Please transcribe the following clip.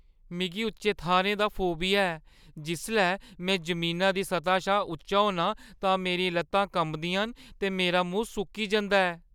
मिगी उच्चे थाह्‌रें दा फोबिया ऐ। जिसलै में जमीना दी सतह शा उच्चा होन्नां तां मेरियां लत्तां कंबदियां न ते मेरा मूंह् सुक्की जंदा ऐ।